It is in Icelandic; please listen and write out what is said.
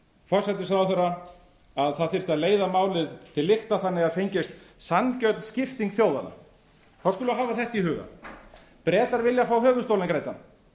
forsætisráðherra að það þyrfti að leiða málið til lykta þannig að það fengist sanngjörn skipting þjóðanna þá skulum við hafa þetta í huga bretar vilja fá höfuðstólinn greiddan